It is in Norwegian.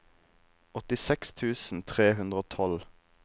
åttiseks tusen tre hundre og tolv